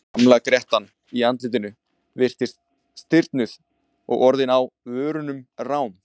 Gamla grettan í andlitinu virtist stirðnuð og orðin á vörunum rám.